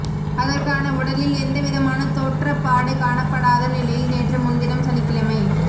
அதற்கான உடலில் எந்தவிதமான தோற்றப்பாடு காணப்படாத நிலையில் நேற்று முன்தினம் சனிக்கிழமை